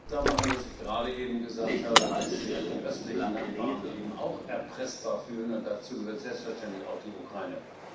machen, dass ich gerade eben gesagt habe, dass sich die östlichen Nachbarn eben auch erpressbar fühlen, und dazu gehört selbstverständlich auch die Ukraine.